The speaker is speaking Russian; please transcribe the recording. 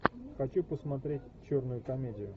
хочу посмотреть черную комедию